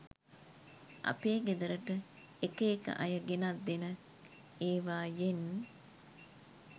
අපේ ගෙදරට එක එක අය ගෙනත් දෙන එවායෙන්